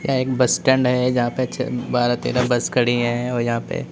एक bus stand है जहां पे बारह तेरह बस खड़ी है और यहां पे--